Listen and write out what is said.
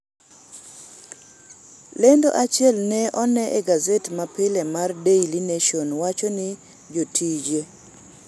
lendo achiel ne one e gazet ma pile mar daily nation wacho ni jotije